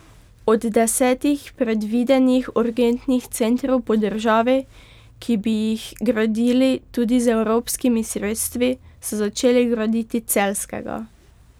Od desetih predvidenih urgentnih centrov po državi, ki bi jih gradili tudi z evropskimi sredstvi, so začeli graditi celjskega.